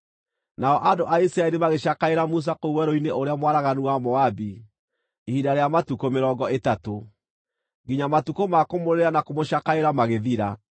Nao andũ a Isiraeli magĩcakaĩra Musa kũu werũ-inĩ ũrĩa mwaraganu wa Moabi ihinda rĩa matukũ mĩrongo ĩtatũ, nginya matukũ ma kũmũrĩrĩra na kũmũcakaĩra magĩthira.